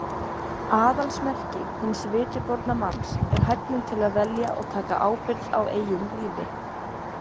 Aðalsmerki hins vitiborna manns er hæfnin til að velja og taka ábyrgð á eigin lífi.